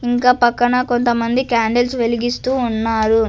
ఇంకా పక్కన కొంతమంది క్యాండిల్స్ వెలిగిస్తూ ఉన్నారు.